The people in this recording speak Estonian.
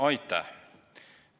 Aitäh!